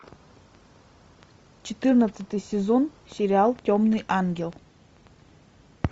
четырнадцатый сезон сериал темный ангел